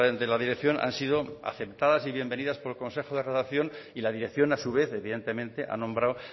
de la dirección han sido aceptadas y bienvenidas por el consejo de redacción y la dirección a su vez evidentemente ha nombrado